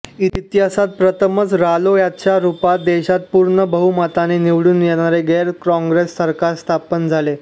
इतिहासात प्रथमच रालोआच्या रुपात देशात पूर्ण बहुमताने निवडून येणारे गैरकॉग्रेस सरकार स्थापना झाले